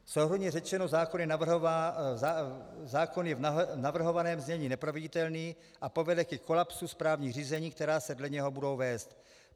Souhrnně řečeno, zákon je v navrhovaném znění neproveditelný a povede ke kolapsu správních řízení, která se dle něho budou vést.